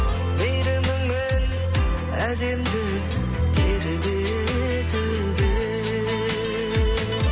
мейіріміңмен әлемді тербетіп ең